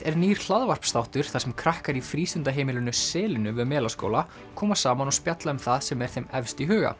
er nýr þar sem krakkar í frístundaheimilinu selinu við Melaskóla koma saman og spjalla um það sem er þeim efst í huga